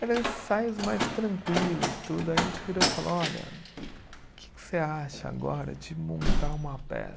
Eram ensaios mais tranquilos tudo, a gente virou e falou, olha, o que que você acha agora de montar uma